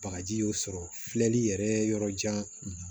Bagaji y'o sɔrɔ filɛli yɛrɛ yɔrɔ jan